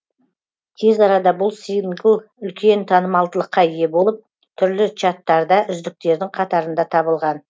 тез арада бұл сингл үлкен танымалдылыққа ие болып түрлі чаттарда үздіктердің қатарында табылған